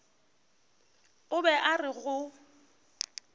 o be a re go